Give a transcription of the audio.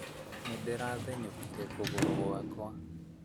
Nĩ ndĩra thenyũkire kũgũrũ gwakwa